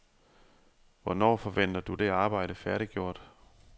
Hvornår forventer du det arbejde færdiggjort?